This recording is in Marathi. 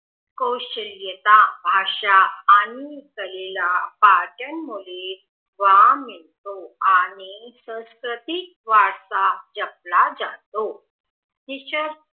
कौशल्यता भाषा आणि कलेला बर्टन मुले वाव येतो आणि सांस्कृतिक वारसा जपला जपतो